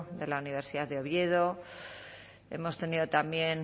de la universidad de oviedo hemos tenido también